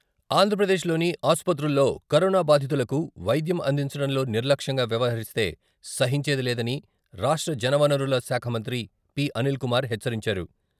ఆంధ్రప్రదేశ్లోని ఆసుపత్రుల్లో కరోనా బాధితులకు వైద్యం అందించడంలో నిర్లక్ష్యంగా వ్యవహరిస్తే సహించేది లేదని రాష్ట్ర జలవనరుల శాఖ మంత్రి పి.అనిల్ కుమార్ హెచ్చరించారు.